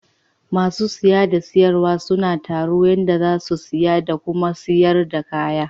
Ma sun siya da sarwa suna taru yanda za su siya da Kuma sayar da kaya.